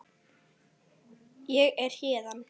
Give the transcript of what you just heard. Ég er héðan